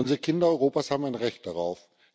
Unsere Kinder Europas haben ein Recht darauf.